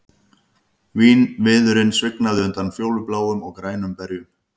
Vínviðurinn svignaði undan fjólubláum og grænum berjum